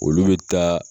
Olu bɛ taa